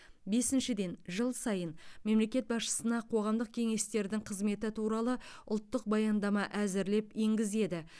бесіншіден жыл сайын мемлекет басшысына қоғамдық кеңестердің қызметі туралы ұлттық баяндама әзірлеп енгізеді